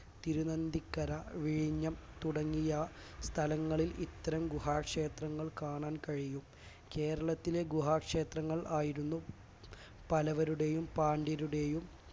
തിരുനന്ദിക്കര വിഴിഞ്ഞം തുടങ്ങിയ സ്ഥലങ്ങളിൽ ഇത്തരം ഗുഹാക്ഷേത്രങ്ങൾ കാണാൻ കഴിയും കേരളത്തിലെ ഗുഹാ ക്ഷേത്രങ്ങൾ ആയിരുന്നു പല്ലവരുടെയും പാണ്ഡ്യരുടെയും